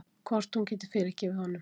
Hvort hún geti fyrirgefið honum.